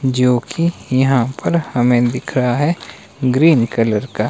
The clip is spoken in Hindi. जो कि यहां पर हमें दिख रहा है ग्रीन कलर का।